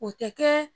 O tɛ kɛ